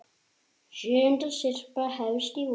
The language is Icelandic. Sjöunda syrpa hefst í vor.